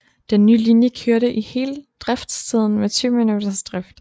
Den nye linje kørte i hele driftstiden med 20 minutters drift